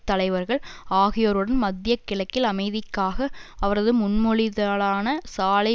தலைவர்கள் ஆகியோருடன் மத்திய கிழக்கில் அமைதிக்காக அவரது முன்மொழிதலான சாலை